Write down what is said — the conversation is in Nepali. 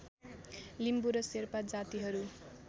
लिम्बु र शेर्पा जातिहरू